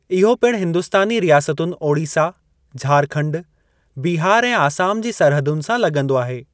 इहो पिणु हिंदुस्तानी रियासतुनि ओड़ीसा, झारखंड, बिहार ऐं आसाम जी सरहदुनि सां लॻंदो आहे।